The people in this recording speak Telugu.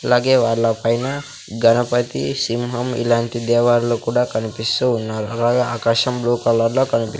అలాగే వాళ్ళ పైన గణపతి సింహం ఇలాంటి దేవర్లు కూడా కనిపిస్తూ ఉన్నారు అలాగే ఆకాశం బ్లూ కలర్లో కనిపి--